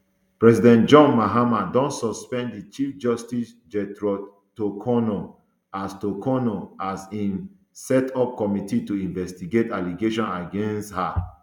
president john mahama don suspend di chief justice gertrude torkornoo as torkornoo as im set up committee to investigate allegations against um her